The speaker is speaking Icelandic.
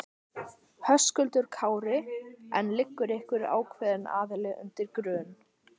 Höskuldur Kári: En liggur einhver ákveðin aðili undir grun?